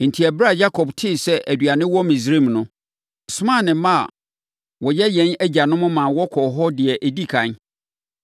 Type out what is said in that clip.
Enti, ɛberɛ a Yakob tee sɛ aduane wɔ Misraim no, ɔsomaa ne mma a wɔyɛ yɛn agyanom maa wɔkɔɔ hɔ deɛ ɛdi ɛkan.